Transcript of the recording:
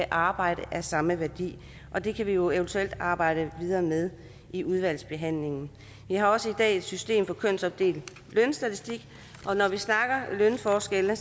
arbejde af samme værdi er det kan vi jo eventuelt arbejde videre med i udvalgsbehandlingen vi har også i dag et system med kønsopdelt lønstatistik og når vi snakker lønforskelle